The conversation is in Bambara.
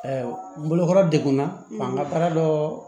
n bolokɔrɔ degunna n ka baara dɔ